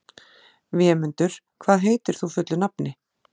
Vémundur, hvað heitir þú fullu nafni?